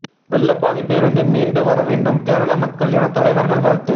வெள்ள பாதிப்பிலிருந்து மீண்டு வரவேண்டும் கேரள மக்கள் என தலைவர்கள் வாழ்த்து